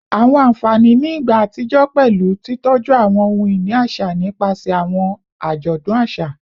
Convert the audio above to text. Awọn anfani ni igba atijọ pẹlu titọju awọn ohun-ini aṣa nipasẹ awọn ajọdun aṣa